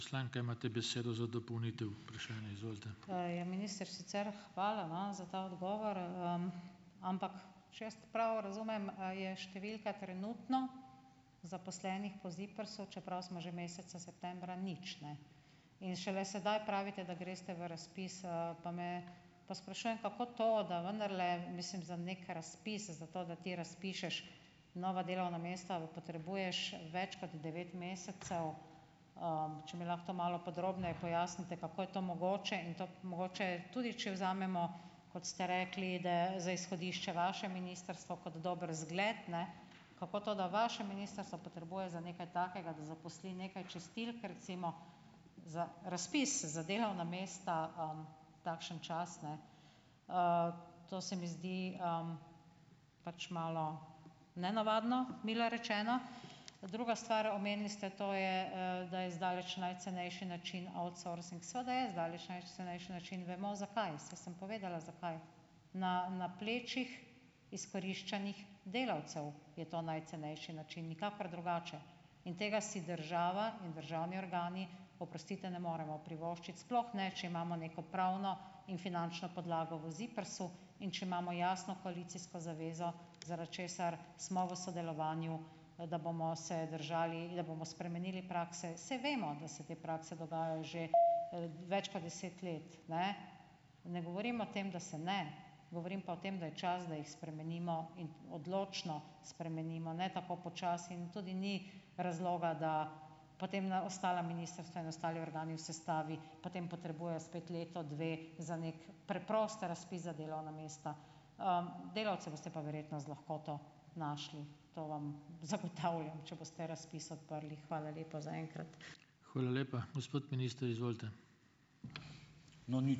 Ja, minister, sicer hvala, no, za ta odgovor, ampak, če jaz prav razumem, je številka trenutno zaposlenih po ZIPRS-u, čeprav smo že meseca septembra, nič, ne. In šele sedaj pravite, da greste v razpis, pa me pa sprašujem, kako to, da vendarle mislim za neki razpis, zato, da ti razpišeš nova delovna mesta, potrebuješ več kot devet mesecev. Če mi lahko to malo podrobneje pojasnite, kako je to mogoče. In to mogoče tudi, če vzamemo, kot ste rekli, da za izhodišče vaše ministrstvo kot dober zgled, ne, kako to, da vaše ministrstvo potrebuje za nekaj takega, da zaposli nekaj čistilk recimo, za razpis za delovna mesta, takšen čas, ne. To se mi zdi, pač malo nenavadno, milo rečeno. Druga stvar. Omenili ste, to je, da je zdaleč najcenejši način outsourcing - seveda je zdaleč najcenejši način, vemo zakaj. Saj sem povedala, zakaj. Na na plečih izkoriščanih delavcev je to najcenejši način, nikakor drugače, in tega si država in državni organi, oprostite, ne moremo privoščiti, sploh ne, če imamo neko pravno in finančno podlago v ZIPRS-u in če imamo jasno koalicijsko zavezo, zaradi česar smo v sodelovanju, da bomo se držali in da bomo spremenili prakse. Saj vemo, da se te prakse dogajajo že, več kot deset let. Ne. Ne govorim o tem, da se ne, govorim pa o tem, da je čas, da jih spremenimo in odločno spremenimo, ne tako počasi. In tudi ni razloga, da potem na ostala ministrstva in ostali organi v sestavi, potem potrebujejo spet leto, dve za neki preprost razpis za delovna mesta. Delavce boste pa verjetno z lahkoto našli, to vam zagotavljam, če boste razpis odprli. Hvala lepa za enkrat.